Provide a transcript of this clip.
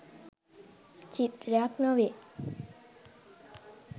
චිත්‍රයක් නොවේ.